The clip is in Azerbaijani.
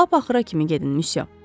Lap axıra kimi gedin missyo.